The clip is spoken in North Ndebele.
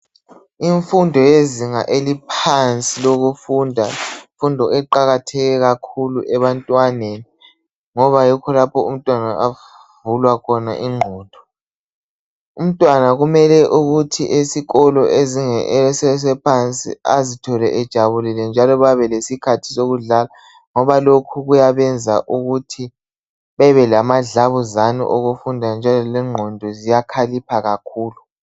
Imfundo yezinga eliphansi lemfundo yizinga eliqakatheke kakhulu ebantwaneni ngoba yikho lapho umntwana avulwa khona ingqondo. Umntwana kumele esikolo esiphansi azithole ejabulile njalo babe lesikhathi sokudlala ngoba lokho kuyabenza ukuthi bebelamadlabuzane okufunda futhi lengqondo ziyakhalipha kakhulu.